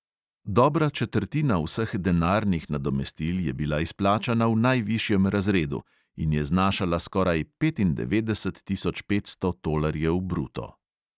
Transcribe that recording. Dobra četrtina vseh denarnih nadomestil je bila izplačana v najvišjem razredu in je znašala skoraj petindevetdeset tisoč petsto tolarjev bruto.